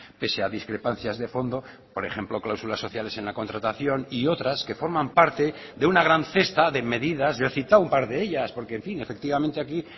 pese a discrepancias de fondo por ejemplo cláusulas sociales en la contratación y otras que forman parte de una gran cesta de medidas yo he citado un par de ellas porque en fin efectivamente aquí